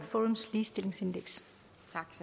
ligestilling